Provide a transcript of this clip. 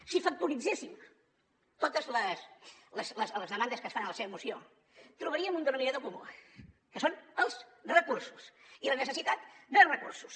si factoritzéssim totes les demandes que es fan a la seva moció hi trobaríem un denominador comú que són els recursos i la necessitat de recursos